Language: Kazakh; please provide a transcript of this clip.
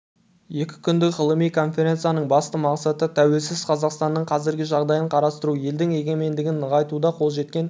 екі күндік ғылыми конференцияның басты мақсаты тәуелсіз қазақстанның қазіргі жағдайын қарастыру елдің егемендігін нығайтуда қол жеткен